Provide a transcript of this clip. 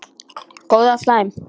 Góð eða slæm?